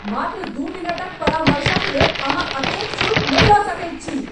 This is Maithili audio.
मात्र दू मिनटक परामर्शक लेल अहाँ एतेक शुल्क नहि लऽ सकैत छी !